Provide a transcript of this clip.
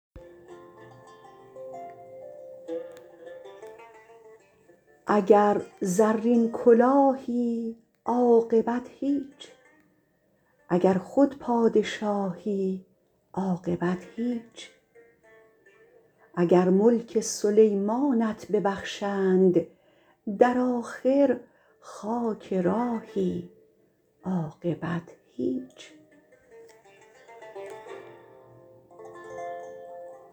اگر زرین کلاهی عاقبت هیچ اگر خود پادشاهی عاقبت هیچ اگر ملک سلیمانت ببخشند در آخر خاک راهی عاقبت هیچ